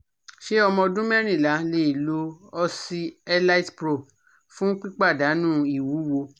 Ṣé ọmọ ọdún mẹ́rìnlá lè lo OxyElitePro fun pipadanu iwuwo?